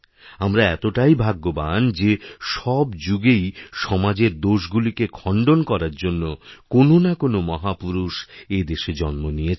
আমরা এতটাই ভাগ্যবান যে সব যুগেইসমাজের দোষগুলিকেই খণ্ডন করার জন্য কোননাকোনো মহাপুরুষ এদেশে জন্ম নিয়েছেন